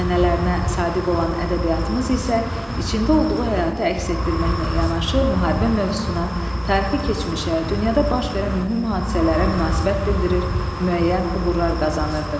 Ənənələrinə sadiq olan ədəbiyyatımız isə içində olduğu həyatı əks etdirməklə yanaşı, müharibə mövzusuna, tarixi keçmişə, dünyada baş verən mühüm hadisələrə münasibət bildirir, müəyyən uğurlar qazanırdı.